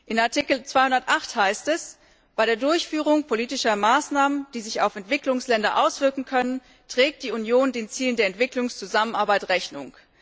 In Artikel 208 heißt es Bei der Durchführung politischer Maßnahmen, die sich auf Entwicklungsländer auswirken können, trägt die Union den Zielen der Entwicklungszusammenarbeit Rechnung.